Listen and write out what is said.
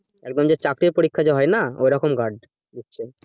একদম যে চাকরির পরীক্ষা হয়না ওই রকম guard দিচ্ছে